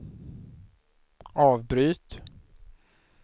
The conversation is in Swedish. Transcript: avbryt